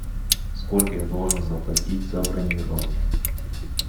сколько я должен заплатить за бронирование